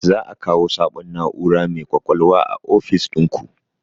Za a kawo sabon na'ura mai ƙwaƙwalwa a ofis ɗinku?